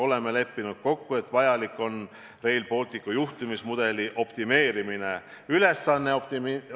Oleme kokku leppinud, et Rail Balticu juhtimismudelit on vaja optimeerida.